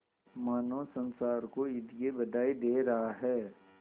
मानो संसार को ईद की बधाई दे रहा है